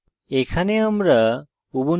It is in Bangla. এখানে আমরা